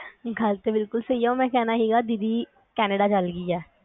ਗੱਲ ਤਾਂ ਬਿਲਕੁਲ ਸਹੀ ਆ ਓ ਮੈ ਕਹਿਣਾ ਹੀਗਾ ਦੀਦੀ ਕੈਨੇਡਾ ਚਲਗੀ ਏ